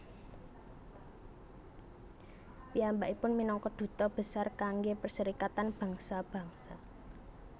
Piyambakipun minangka duta besar kanggé Perserikatan Bangsa Bangsa